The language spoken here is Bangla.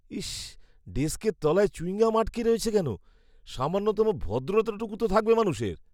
ইস! ডেস্কের তলায় চুইংগাম আটকে রয়েছে কেন? সামান্যতম ভদ্রতাটুকু তো থাকবে মানুষের।